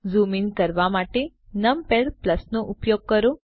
zoom in કરવા માટે numpad નો ઉપયોગ કરો